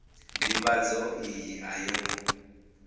ndivhadzo iyi a yo ngo